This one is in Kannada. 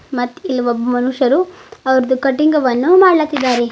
ಮತ್ ಇಲ್ಲೊಬ್ಬ ಮನುಷ್ಯರು ಅವರ್ದು ಕಟಿಂಗ್ ವನ್ನು ಮಾಡ್ಲಾತಿದ್ದಾರೆ.